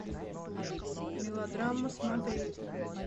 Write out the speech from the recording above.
мелодрама смотреть